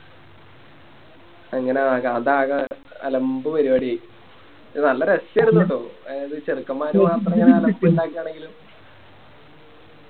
അങ്ങനെ അതാകെ അലമ്പ് പരിപാടിയായി നല്ല രസാരുന്നു ട്ടോ എ ചെറുക്കൻമ്മാര് മാത്രം ആണെങ്കിലും